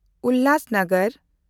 ᱩᱞᱦᱟᱥᱱᱚᱜᱚᱨ